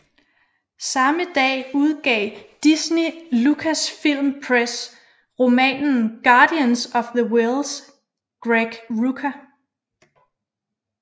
Samme dag udgav Disney Lucasfilm Press romanen Guardians of the Whills Greg Rucka